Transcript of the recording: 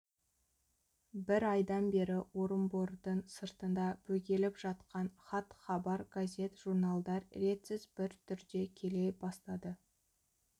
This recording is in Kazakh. бір айдан бері орынбордын сыртында бөгеліп жатқан хат-хабар газет журналдар ретсіз бір түрде келе бастады